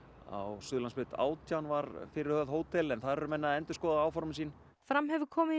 á Suðurlandsbraut átján var fyrirhugað hótel en þar eru menn að endurskoða áform sín fram hefur komið í